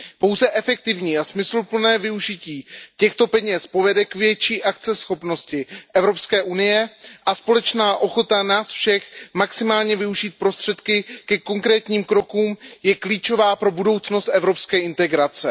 Pouze efektivní a smysluplné využití těchto peněz povede k větší akceschopnosti Evropské unie a společná ochota nás všech maximálně využít prostředky ke konkrétním krokům je klíčová pro budoucnost evropské integrace.